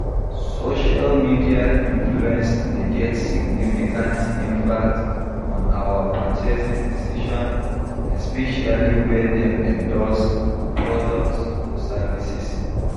Social media influence dey get significant impact on our purchasing decisions, especially when dem endorse products or services.